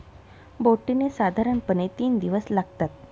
बोटीने साधारणपणे तीन दिवस लागतात.